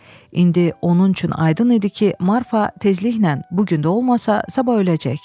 İndi onun üçün aydın idi ki, Marfa tezliklə, bu gün də olmasa, sabah öləcək.